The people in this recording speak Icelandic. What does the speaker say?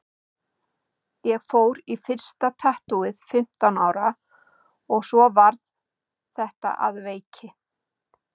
Ég fór í fyrsta tattúið fimmtán ára og svo varð þetta að veiki.